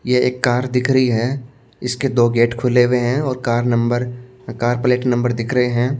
ये एक कार दिख रही है इसके दो गेट खुले हुए हैं और car number car plate number दिख रहे हैं।